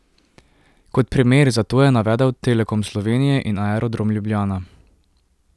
Kot primer za to je navedel Telekom Slovenije in Aerodrom Ljubljana.